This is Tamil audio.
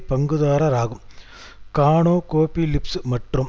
பங்குதாரர் ஆகும் கானோகோபிலிப்ஸ் மற்றும்